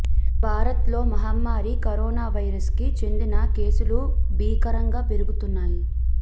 భారత్ లోమహమ్మారీ corona virus కి చెందిన కేసులు భీకరంగా పెరుగుతున్నాయి